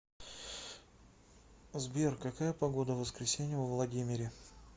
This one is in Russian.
сбер какая погода в воскресенье во владимире